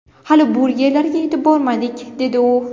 Hali burgerlarga yetib bormadik”, dedi u.